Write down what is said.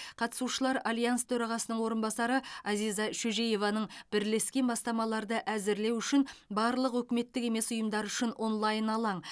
қатысушылар альянс төрағасының орынбасары азиза шөжееваның бірлескен бастамаларды әзірлеу үшін барлық үкіметтік емес ұйымдар үшін онлайн алаң